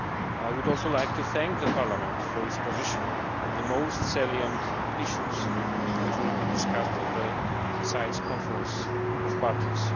I would also like to thank Parliament for its position on the most salient issues which will be discussed at the CITES Conference of Parties.